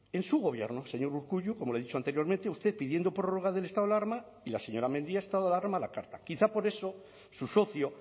en su gobierno señor urkullu como le he dicho anteriormente usted pidiendo prorroga del estado alarma y la señora mendia estado de alarma a la carta quizá por eso su socio